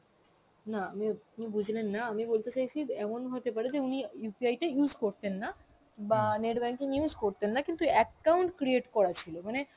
না উম আপনি বুঝলেন না আমি বলতে চাইছি এমন হতে পারে যে উনি UPI টা use করতেন না বা net banking use করতেন না কিন্তু account create করা ছিল মানে